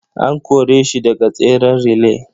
An kore shi daga tseren relay.